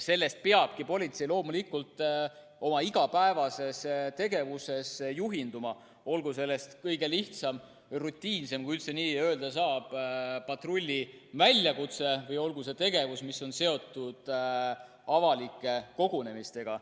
Sellest peabki politsei loomulikult oma igapäevases tegevuses juhinduma, olgu selleks kõige lihtsam, rutiinsem, kui üldse nii öelda saab, patrulli väljakutse või olgu see tegevus, mis on seotud avalike kogunemistega.